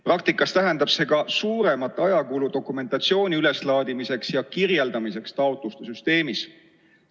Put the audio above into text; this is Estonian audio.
Praktikas tähendab see ka suuremat ajakulu dokumentatsiooni üleslaadimiseks ja taotluste süsteemis kirjeldamiseks.